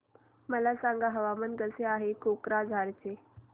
मला सांगा हवामान कसे आहे कोक्राझार चे